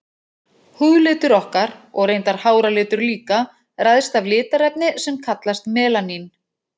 Húðlitur okkar, og reyndar háralitur líka, ræðst af litarefni sem kallast melanín.